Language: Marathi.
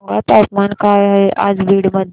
सांगा तापमान काय आहे आज बीड मध्ये